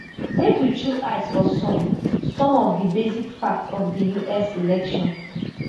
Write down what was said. make we chook eye for some some of di basic facts of di us election